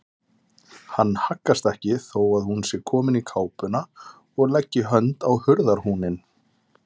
Hann haggast ekki þó að hún sé komin í kápuna og leggi hönd á hurðarhúninn.